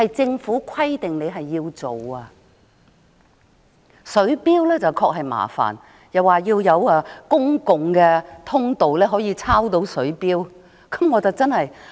政府表示在水錶方面，比較麻煩的是需要有公共通道讓職員抄錄水錶讀數。